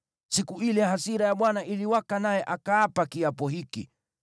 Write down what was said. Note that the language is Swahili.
Siku ile hasira ya Bwana iliwaka naye akaapa kiapo hiki: